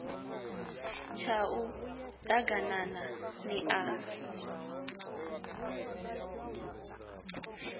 tshau d aganana ḽi a